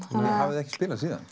þið hafið ekki spilað síðan